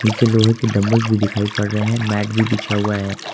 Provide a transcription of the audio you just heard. नीचे लोहे की डंबल भी दिखाई पड़ रहे हैं मैंट भी बिछा हुआ है।